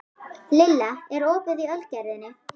Lilla, er opið í Ölgerðinni?